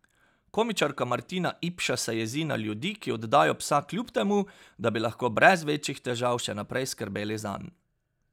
Komičarka Martina Ipša se jezi na ljudi, ki oddajo psa kljub temu, da bi lahko brez večjih težav še naprej skrbeli zanj.